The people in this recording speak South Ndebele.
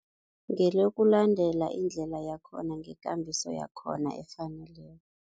Ngelokulandela indlela yakhona ngekambiso yakhona efaneleko.